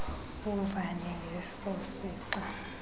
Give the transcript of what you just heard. uvane ngeso sixa